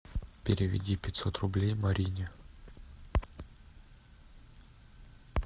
переведи пятьсот рублей марине